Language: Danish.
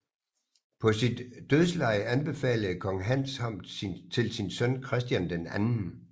På sit dødsleje anbefalede kong Hans ham til sin søn Christian II